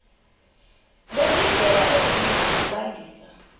nezindlela ezinye zokwandisa